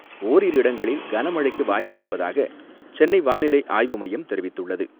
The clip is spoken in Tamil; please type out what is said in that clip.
ஓரிரு இடங்களில் கனமழைக்கு வாய்ப்பு இருப்பதாக சென்னை வானிலை ஆய்வு மையம் தெரிவித்துள்ளது.